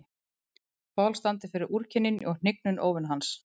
Paul standi fyrir úrkynjun og hnignun óvina hans.